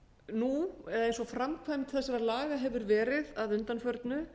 nú eins og framkvæmd þessara laga hefur verið að undanförnu